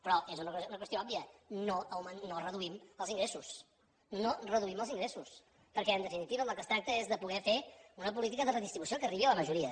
però és una qüestió òbvia no reduïm els ingressos no reduïm els ingressos perquè en definitiva del que es tracta és poder fer una política de redistribució que arribi a la majoria